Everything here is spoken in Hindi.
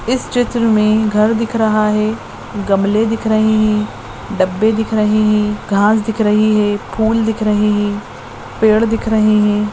इस चित्र मे घर दिख रहा है गमले दिख रहे है डब्बे दिख रहे है घास दिख रही है फूल दिख रहे है पेड़ दिख रहे है।